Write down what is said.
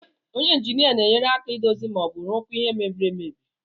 Onye injinia na-enyere aka idozi ma ọ bụ rụkwaa ihe mbiri amebi.